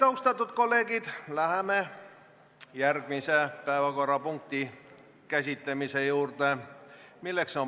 Austatud kolleegid, läheme järgmise päevakorrapunkti juurde.